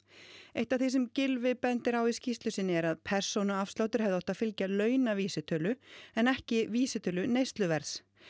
eitt af því sem Gylfi bendir á í skýrslu sinni er að persónuafsláttur hefði átt að fylgja launavísitölu en ekki vísitölu neysluverðs